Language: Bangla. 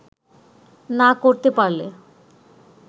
না করতে পারলে